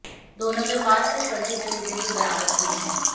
दोनों के पास से फर्जी रसीदें भी बरामद की हैं